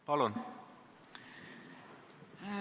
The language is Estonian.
Palun!